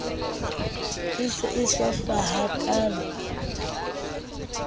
e se e hlwahlwa hakaalo